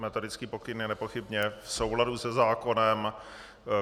Metodický pokyn je nepochybně v souladu se zákonem.